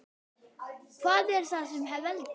Hvað er það sem veldur?